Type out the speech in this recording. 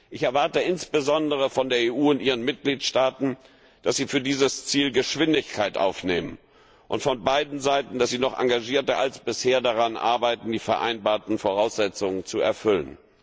Ich erwarte insbesondere von der EU und ihren Mitgliedstaaten, dass sie für dieses Ziel Geschwindigkeit aufnehmen, und von beiden Seiten, dass sie noch engagierter als bisher daran arbeiten, die vereinbarten Voraussetzungen zu erfüllen.